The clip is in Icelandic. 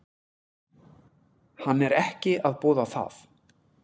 Hann er ekki að boða það.